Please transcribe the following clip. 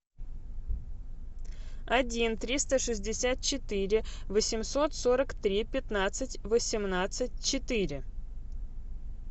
один триста шестьдесят четыре восемьсот сорок три пятнадцать восемнадцать четыре